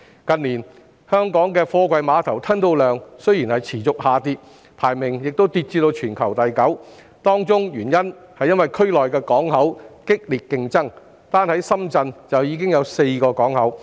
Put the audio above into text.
近年，本港貨櫃碼頭的吞吐量持續下跌，港口排名亦跌至全球第九位，當中原因是區內港口競爭激烈，單在深圳已有4個港口。